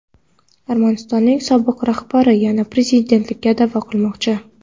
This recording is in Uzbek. Armanistonning sobiq rahbari yana prezidentlikka da’vo qilmoqchi.